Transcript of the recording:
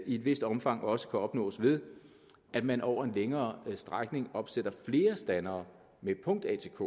i et vist omfang også kan opnås ved at man over en længere strækning opsætter flere standere med punkt atk